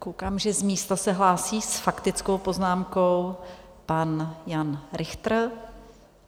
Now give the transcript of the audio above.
Koukám, že z místa se hlásí s faktickou poznámkou pan Jan Richter.